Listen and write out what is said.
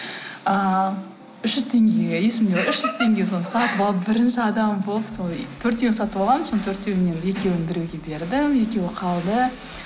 ыыы үш жүз теңгеге есімде үш жүз теңгеге соны сатып алып бірінші адам болып сол төртеуін сатып алғанмын соның төртеуінен екеуін біреуге бердім екеуі қалды